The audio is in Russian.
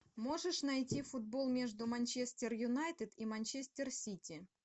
можешь найти футбол между манчестер юнайтед и манчестер сити